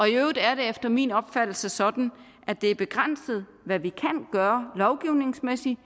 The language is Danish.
i øvrigt er det efter min opfattelse sådan at det er begrænset hvad vi lovgivningsmæssigt